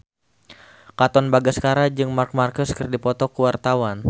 Katon Bagaskara jeung Marc Marquez keur dipoto ku wartawan